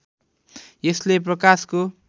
यसले प्रकाशको